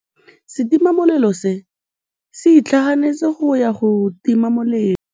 Setima molelô se itlhaganêtse go ya go tima molelô.